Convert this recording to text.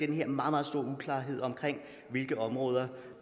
den her meget meget store uklarhed om hvilke områder